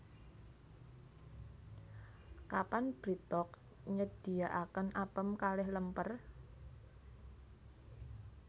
Kapan BreadTalk nyediaaken apem kalih lemper?